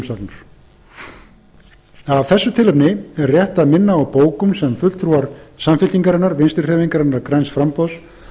til umsagnar af þessu tilefni er rétt að minna á bókun sem fulltrúar samfylkingarinnar vinstri hreyfingarinnar græns framboðs